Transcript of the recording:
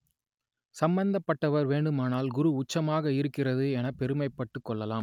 சம்பந்தப்பட்டவர் வேண்டுமானால் குரு உச்சமாக இருக்கிறது எனப் பெருமைப்பட்டுக் கொள்ளலாம்